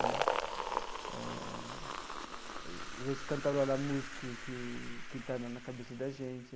Né eh as vezes, cantarolar a música que que estava na cabeça da gente.